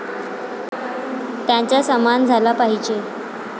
त्यांचा सन्मान झाला पाहिजे.